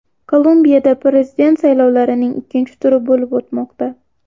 Kolumbiyada prezident saylovining ikkinchi turi bo‘lib o‘tmoqda.